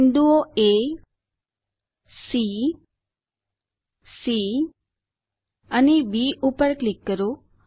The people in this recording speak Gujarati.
બિંદુઓ એ સી સી B પર ક્લિક કરો